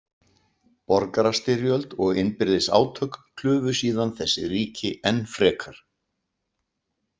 Borgarastyrjöld og innbyrðis átök klufu síðan þessi ríki enn frekar.